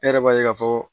E yɛrɛ b'a ye k'a fɔ